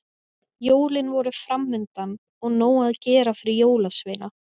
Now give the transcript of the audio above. Jólin voru framundan og nóg að gera fyrir jólasveina.